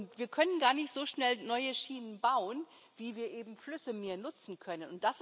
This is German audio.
Und wir können gar nicht so schnell neue Schienen bauen, wie wir eben Flüsse mehr nutzen können.